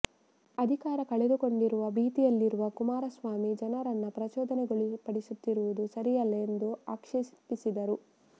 ಅಧಿಕಾರ ಕಳೆದುಕೊಂಡಿರುವ ಭೀತಿಯಲ್ಲಿರುವ ಕುಮಾರಸ್ವಾಮಿ ಜನರನ್ನು ಪ್ರಚೋದನೆಗೊಳಪಡಿಸುತ್ತಿರುವುದು ಸರಿಯಲ್ಲ ಎಂದು ಆಕ್ಷೇಪಿಸಿದರು